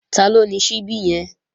Taló ni ṣíbí yẹn?